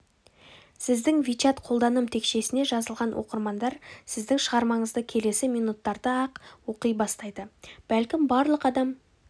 сіздің вичат қолданым текшесіне жазылған оқырмандар сіздің шығармаңызды келесі минуттарда-ақ оқи бастайды бәлкім барлық адам